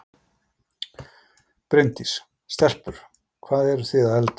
Bryndís: Stelpur, hvað eru þið að elda?